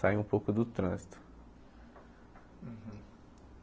Sair um pouco do trânsito.